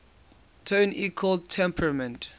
tone equal temperament